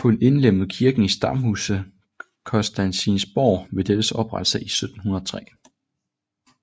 Hun indlemmede kirken i stamhuset Constantinsborg ved dettes oprettelse i 1703